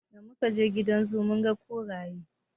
Da mu kaje gidan zoo mun ga kuraye.